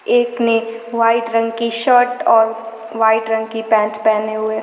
एक ने वाइट रंग की शर्ट और वाइट रंग की पैंट पहने हुए--